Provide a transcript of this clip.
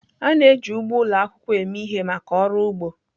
A na-eji ugbo ụlọ akwụkwọ eme ihe maka ọrụ ugbo.